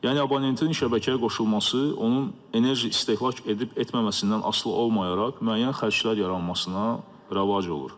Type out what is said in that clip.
Yəni abonentinin şəbəkəyə qoşulması, onun enerji istehlak edib etməməsindən asılı olmayaraq müəyyən xərclər yaranmasına rəvac olur.